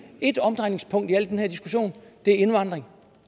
et omdrejningspunkt i den her diskussion og det er indvandring